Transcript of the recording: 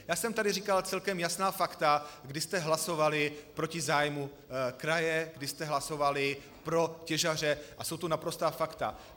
Já jsem tady říkal celkem jasná fakta, kdy jste hlasovali proti zájmu kraje, kdy jste hlasovali pro těžaře, a jsou to naprostá fakta.